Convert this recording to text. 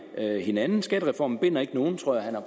hinanden skattereformen binder ikke nogen tror jeg